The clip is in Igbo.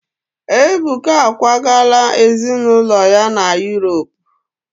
Ebuka akwagala ezinụlọ ya na Yuropu.